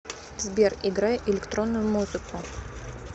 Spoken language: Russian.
сбер играй электронную музыку